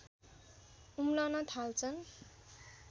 उम्लन थाल्छन्